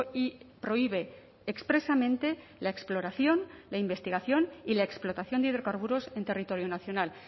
y prohíbe expresamente la exploración la investigación y la explotación de hidrocarburos en territorio nacional